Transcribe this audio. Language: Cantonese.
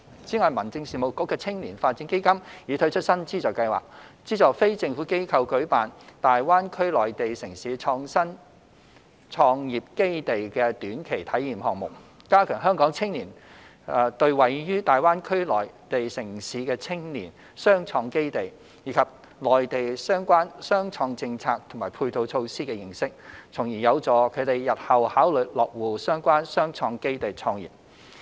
此外，民政事務局的青年發展基金已推出新資助計劃，資助非政府機構舉辦大灣區內地城市創新創業基地的短期體驗項目，加強香港青年對位於大灣區內地城市的青年雙創基地，以及內地相關雙創政策和配套措施的認識，從而有助他們日後考慮落戶相關雙創基地創業。